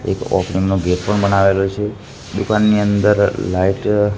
એક ગેટ પણ બનાવેલો છે દુકાન ની અંદર લાઈટ --